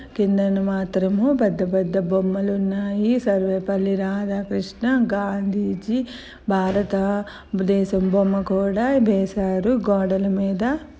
కింద మాత్రం పెద్ద పెద్ద బొమ్మలు ఉన్నాయి. సర్వేపల్లి రాధాకృష్ణ గాంధీజీ భారత దేశం బొమ్మ కూడా వేసారు గోదాల మిద.